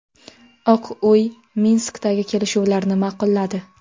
Oq uy Minskdagi kelishuvlarni ma’qulladi.